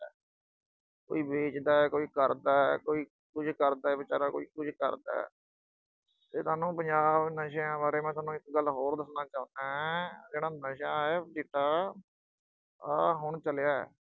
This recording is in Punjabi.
ਕੋਈ ਵੇਚਦਾ ਕੋਈ ਕਰਦਾ, ਕੋਈ ਕੁਝ ਕਰਦਾ ਵਿਚਾਰਾ, ਕੋਈ ਕੁਝ ਕਰਦਾ, ਇਹ ਤੁਹਾਨੂੰ ਪੰਜਾਬ ਦੇ ਨਸ਼ਿਆਂ ਬਾਰੇ ਮੈਂ ਸੋਨੂੰ ਇੱਕ ਗੱਲ ਹੋਰ ਦੱਸਣਾ ਚਾਹੁੰਨਾ, ਆਹ ਜਿਹੜਾ ਨਸ਼ਾ ਅਹ ਚਿੱਟਾ, ਆਹ ਹੁਣ ਚੱਲਿਆ।